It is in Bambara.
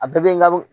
A bɛɛ bɛ n ka